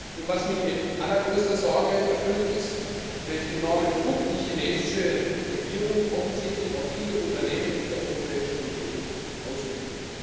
Und was mich mit allergrößter Sorge erfüllt, ist, welch enormen Druck die chinesische Regierung offensichtlich auf viele Unternehmen in der Europäischen Union ausübt.